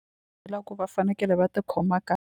Loko va fanekele va tikhoma .